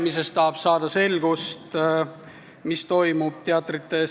Me tahame saada selgust, mis toimub Eesti teatrites.